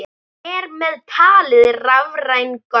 Þar með talið rafræn gögn.